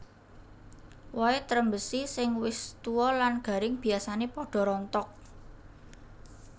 Wohé trembesi sing wis tua lan garing biasané padha rontok